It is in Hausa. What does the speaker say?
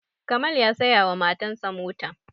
Kamal ya saya wa matan sa mota